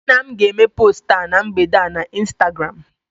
nna m ga-eme post a na mgbede a na Instagram